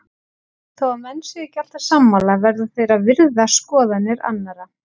Þó að menn séu ekki alltaf sammála verða þeir að virða skoðanir annara.